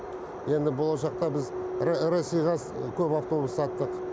енді болашақта біз россияға көп автобус саттық